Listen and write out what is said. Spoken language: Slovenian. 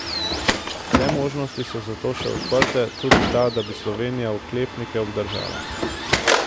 Vse možnosti so zato še odprte, tudi ta, da bi Slovenija oklepnike obdržala.